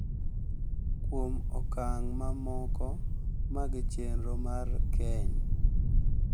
kuom okang’ mamoko mag chenro mar keny.